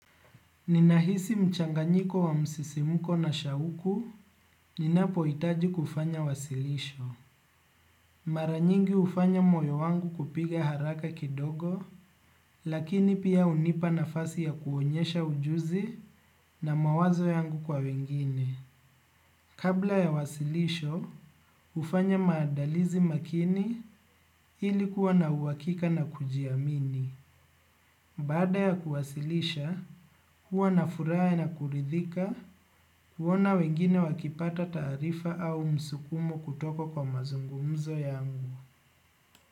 Ninahisi mchanganyiko wa msisimuko na shauku, ninapohitaji kufanya wasilisho. Mara nyingi hufanya moyo wangu kupiga haraka kidogo, lakini pia unipa nafasi ya kuonyesha ujuzi na mawazo yangu kwa wengine. Kabla ya wasilisho, ufanye maandalizi makini ili kuwa na uhakika na kujiamini. Baada ya kuwasilisha, huwa na furaha na kuridhika, huona wengine wakipata taarifa au msukumo kutoka kwa mazungumzo yangu.